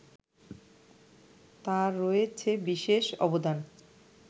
তার রয়েছে বিশেষ অবদান